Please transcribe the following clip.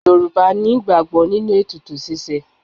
Yorùbá ní ìgbàgbọ́ nínú ètùtù ṣíṣe.